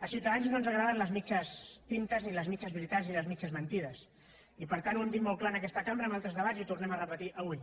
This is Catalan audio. a ciutadans no ens agraden les mitges tintes ni les mitges veritats ni les mitges mentides i per tant ho hem dit molt clar en aquesta cambra en altres debats i ho tornem a re·petir avui